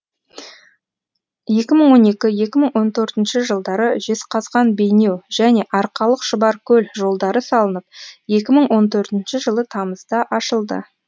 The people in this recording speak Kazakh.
екі мың он екі екі мың он төртінші жылдары жезқазған бейнеу және арқалық шұбаркөл жолдары салынып екі мың он төртінші жылы тамызда ашылды